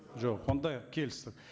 жоқ онда келістік